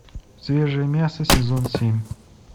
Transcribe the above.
свежее мясо сезон семь